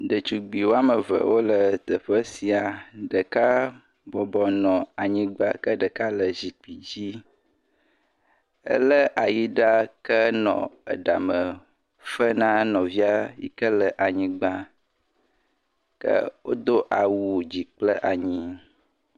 Detugbi wo ame ve wole teƒe sia. Ɖeka bɔbɔ nɔ anyigba ke ɖeka le zikpi dzi. Elé ayiɖa kenɔ eɖame fe na nɔvia yi ke le anyigba. Ke wodo awu Dzi kple anyi